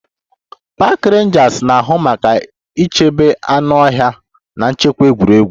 Park Rangers na-ahụ maka ichebe anụ ọhịa na nchekwa egwuregwu